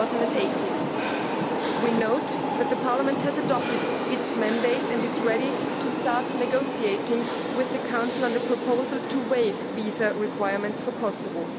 2018. We note that the Parliament has adopted its mandate and is ready to start negotiating with the Council on the proposal to waive visa requirements for Kosovo.